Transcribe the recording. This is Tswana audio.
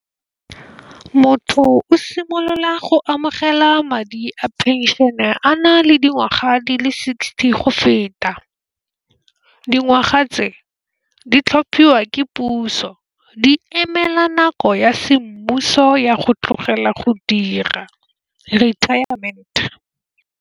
Motho o simolola go amogela madi a phenšene a na le dingwaga di le sixty go feta. Dingwaga tse di tlhophiwa ke puso di emela nako ya semmuso ya go tlogela go dira retirement.